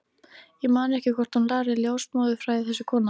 Ég man ekki hvort hún lærði ljósmóðurfræði, þessi kona.